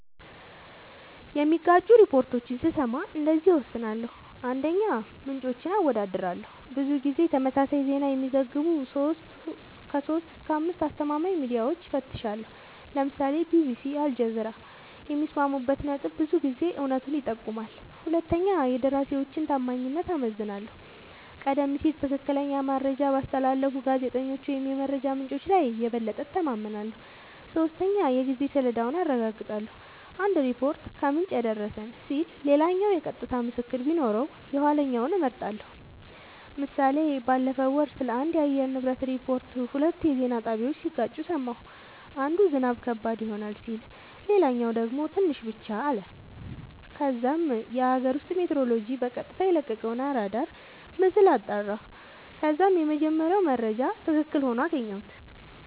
የሚጋጩ ሪፖርቶችን ስሰማ እንደዚህ እወስናለሁ :- 1, ምንጮችን አወዳድራለሁ :-ብዙ ጊዜ ተመሳሳይ ዜና የሚዘግቡ 3-5አስተማማኝ ሚድያወችን እፈትሻለሁ ( ለምሳሌ ቢቢሲ አልጀዚራ )የሚስማሙበት ነጥብ ብዙ ጊዜ እውነቱን ይጠቁማል 2 የደራሲወችን ታማኝነት እመዝናለሁ :-ቀደም ሲል ትክክለኛ መረጃ ባስተላለፉ ጋዜጠኞች ወይም የመረጃ ምንጮች ላይ የበለጠ እተማመናለሁ። 3 የጊዜ ሰሌዳውን አረጋግጣለሁ :- አንድ ሪፖርት "ከምንጭ የደረሰን" ሲል ሌላኛው የቀጥታ ምስክር ቢኖረው የኋለኛውን እመርጣለሁ ## ምሳሌ ባለፈው ወር ስለአንድ የአየር ንብረት ሪፖርት ሁለት የዜና ጣቢያወች ሲጋጩ ሰማሁ። አንዱ "ዝናብ ከባድ ይሆናል " ሲል ሌላኛው ደግሞ "ትንሽ ብቻ " አለ። ከዛም የአገር ውስጥ ሜትሮሎጅ በቀጥታ የለቀቀውን አራዳር ምስል አጣራሁ ከዛም የመጀመሪያው መረጃ ትክክል ሆኖ አገኘሁት